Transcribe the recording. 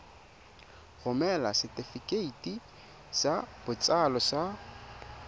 romela setefikeiti sa botsalo sa